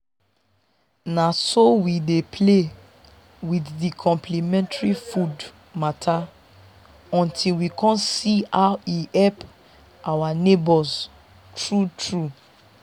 na so we dey play with the complementary food matter until we con see how e help our neighbors true true.